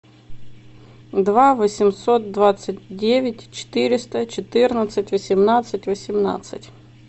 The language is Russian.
два восемьсот двадцать девять четыреста четырнадцать восемнадцать восемнадцать